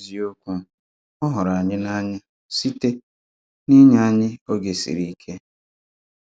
N’eziokwu, ọ hụrụ̀ anyị n’ànụ́ya site n’ínye anyị́ ògé siri íke.